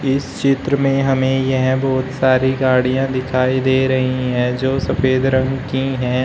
इस चित्र में हमें यह बहुत सारी गाड़ियां दिखाई दे रही हैं जो सफेद रंग की हैं।